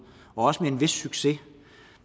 og også med en vis succes